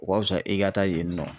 O ka fisa e ka taa yen nɔ